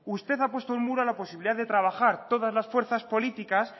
usted ha puesto un muro a la posibilidad de trabajar todas las fuerzas políticas